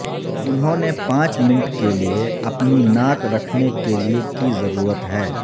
انہوں نے پانچ منٹ کے لئے اپنی ناک رکھنے کے لئے کی ضرورت ہے